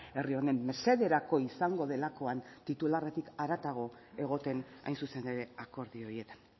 herri honen mesederako izango delakoan titularretik haratago egoten hain zuzen ere akordio horietan